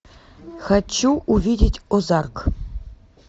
хочу увидеть озарк